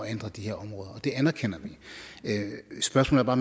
ændre de her områder og det anerkender vi spørgsmålet er